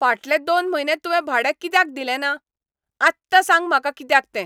फाटलें दोन म्हयने तुंवें भाडें कित्याक दिले ना? आत्तां सांग म्हाका कित्याक तें.